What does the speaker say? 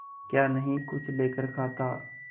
क्या नहीं कुछ लेकर खाता